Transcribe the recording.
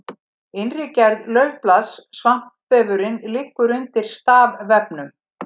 innri gerð laufblaðs svampvefurinn liggur undir stafvefnum